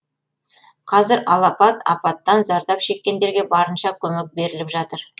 қазір алапат апаттан зардап шеккендерге барынша көмек беріліп жатыр